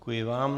Děkuji vám.